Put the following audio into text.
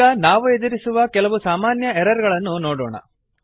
ಈಗ ನಾವು ಎದುರಿಸುವ ಕೆಲವು ಸಾಮಾನ್ಯ ಎರರ್ ಗಳನ್ನು ನೋಡೋಣ